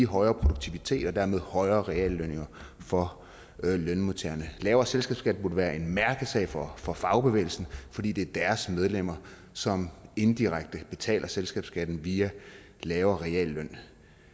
højere produktivitet og dermed højere reallønninger for lønmodtagerne en lavere selskabsskat burde være en mærkesag for for fagbevægelsen fordi det er deres medlemmer som indirekte betaler selskabsskatten via en lavere realløn